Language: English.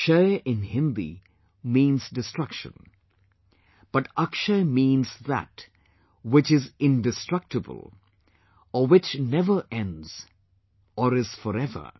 'Kshay' in Hindi means destruction but 'Akshay' means that which is indestructible or which never ends or is forever